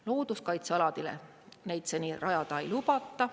Looduskaitsealadele neid seni rajada ei lubata.